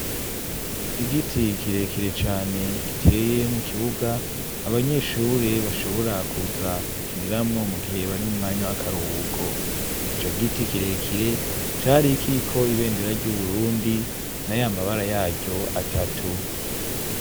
Igiti kirekire cyane giteye mu kibuga abanyeshure bashobora kuza gukiniramwo mu gihe bari mu mwanya w'akaruhuko icyo giti kirekire cyari kiriko ibendera ry'uburundi n'a y'amabara yaryo atatu.